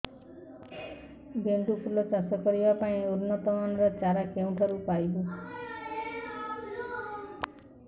ଗେଣ୍ଡୁ ଫୁଲ ଚାଷ କରିବା ପାଇଁ ଉନ୍ନତ ମାନର ଚାରା କେଉଁଠାରୁ ପାଇବୁ